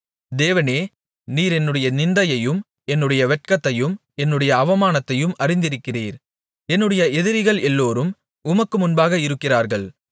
தேவனே நீர் என்னுடைய நிந்தையையும் என்னுடைய வெட்கத்தையும் என்னுடைய அவமானத்தையும் அறிந்திருக்கிறீர் என்னுடைய எதிரிகள் எல்லோரும் உமக்கு முன்பாக இருக்கிறார்கள்